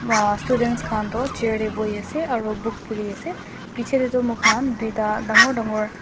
ah students khan toh chair tae boiase aro book puriase bichae tae toh moikhan tuta dangor dangor.